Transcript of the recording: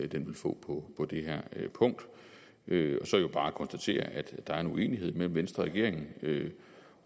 den vil få på det her punkt jeg vil så bare konstatere at der er en uenighed mellem venstre og regeringen